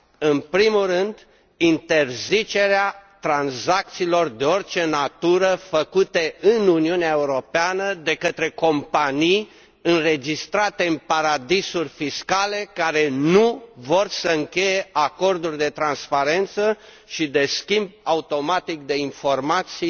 În primul rând, să interzicem tranzacțiile de orice natură făcute în Uniunea Europeană de către companii înregistrate în paradisuri fiscale care nu vor să încheie acorduri de transparență și de schimb automat de informații